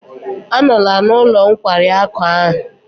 Anọla n'ụlọ nkwari akụ ahụ!